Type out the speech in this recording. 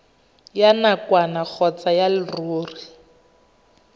ya nakwana kgotsa ya leruri